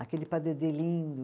Aquele padedê lindo.